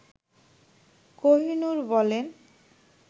কহিনুর বলেন